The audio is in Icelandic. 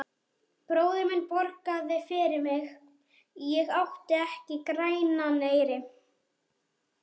Bróðir minn borgaði fyrir mig, ég átti ekki grænan eyri.